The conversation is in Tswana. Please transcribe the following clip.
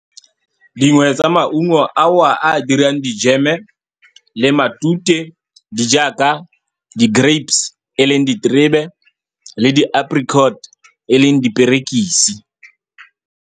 Dingwe tsa maungo ao a a dirang di-jam-e le matute, di jaaka di-grapes, e leng diterebe, le di-apricot, e leng diperekisi.